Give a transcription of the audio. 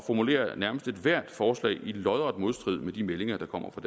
nærmest formulerer ethvert forslag i lodret modstrid med de meldinger der kommer fra